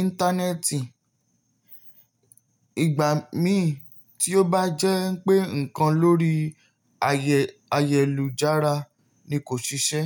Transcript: Íńtánẹ́ẹ̀tì. Ìgbà mí tí ó bá jẹ́ pé ǹkan lórí ayélujára ni kò ṣiṣẹ́